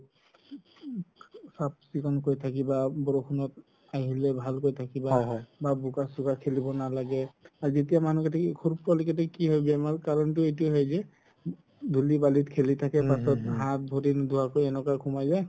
চাফ চিকুণকৈ থাকিবা, বৰষুণত আহিলে ভালকে থাকিবা বা বুকা চুকা খেলিব নালাগে আৰু যেতিয়া মানুহ কেইটাই সৰু পোৱালি কেইটাৰ কি হ'ল বেমাৰ কাৰণতো এইটোয়ে হয় যে ধুলি বালি খেলি থাকে পাছত হাত ভৰি নুধুৱাকৈ এনেকৈ সুমাই যাই